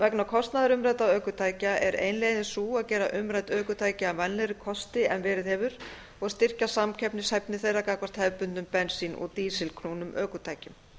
vegna kostnaðar umræddra ökutækja er ein leiðin sú að gera umrædd ökutæki að vænlegri kosti en verið hefur og styrkja samkeppnishæfni þeirra gagnvart hefðbundnum bensín og dísilknúnum ökutækjum